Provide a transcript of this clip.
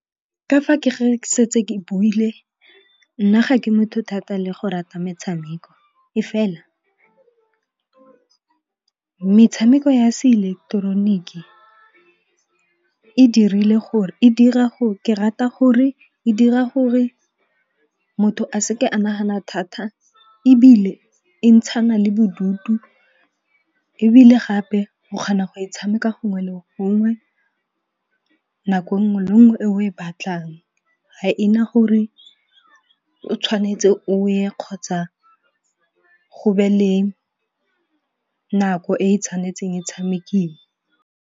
Ka fa ke ge ke setse ke buile nna ga ke motho thata le go rata metshameko. E fela metshameko ya se ileketeroniki e dirile gore ke rata gore e dira gore motho a seke a nagana thata ebile e ntshana le bodutu. Ebile gape go kgona go e tshameka gongwe le gongwe nako nngwe le nngwe e o e e batlang. Ga ena gore o tshwanetse o ye kgotsa go be le nako e e tshwanetseng e tshamekiwe.